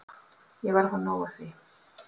Ég var að fá nóg af því.